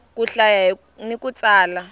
ku hlaya ni ku tsala